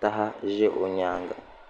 taha ʒɛ o nyaanga